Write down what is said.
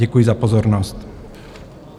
Děkuji za pozornost.